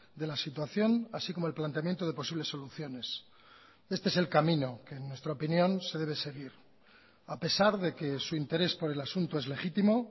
de la situación así como el planteamiento de posibles soluciones este es el camino que en nuestra opinión se debe seguir a pesar de que su interés por el asunto es legítimo